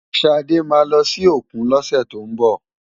Ṣadé máa lọ sí òkun lọ́sẹ̀ tó ń bọ̀.